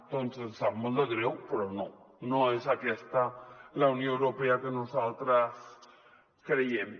doncs ens sap molt de greu però no no és aquesta la unió europea en la que nosaltres creiem